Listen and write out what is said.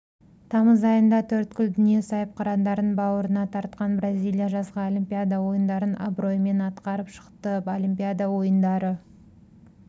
тамыз айында төрткүл дүние сайыпқырандарын бауырына тартқан бразилия жазғы олимпиада ойындарын абыроймен атқарып шықты олимпиада ойындары